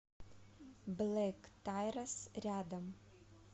блэктайрес рядом